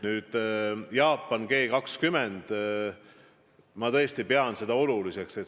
Nüüd, Jaapan, G20.